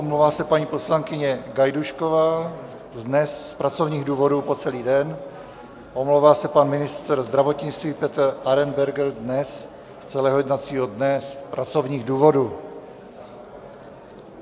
Omlouvá se paní poslankyně Gajdůšková dnes z pracovních důvodů po celý den, omlouvá se pan ministr zdravotnictví Petr Arenberger dnes z celého jednacího dne z pracovních důvodů.